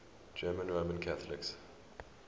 german roman catholics